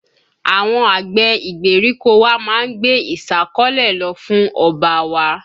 Àwọn àgbẹ̀ ìgbèríko wa má ń gbé ìsákọ́lè lọ fún ọba wa